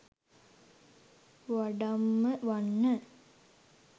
වඩම්ම වන්න.